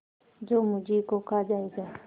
जो मुझी को खा जायगा